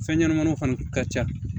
Fɛn ɲɛnɛmaninw fana ka ca